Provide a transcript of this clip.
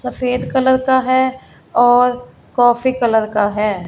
सफेद कलर का है और कॉफी का है।